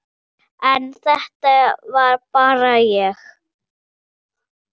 En þetta er bara ég.